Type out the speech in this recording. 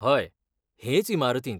हय, हेच इमारतींत.